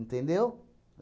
Entendeu?